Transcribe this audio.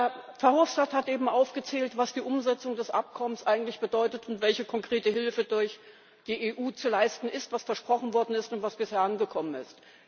Herr Verhofstadt hat eben aufgezählt, was die Umsetzung des Abkommens eigentlich bedeutet und welche konkrete Hilfe durch die EU zu leisten ist, was versprochen worden ist und was bisher angekommen ist.